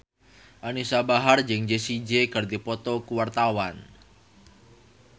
Anisa Bahar jeung Jessie J keur dipoto ku wartawan